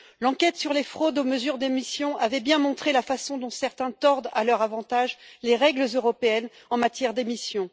L'enquête sur les fraudes aux mesures d'émissions avait bien montré la façon dont certains tordent à leur avantage les règles européennes en matière d'émissions.